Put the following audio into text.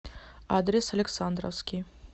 адрес александровский